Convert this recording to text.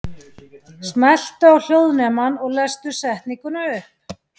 Jóhanna Margrét: Kannski að æfa sig smá?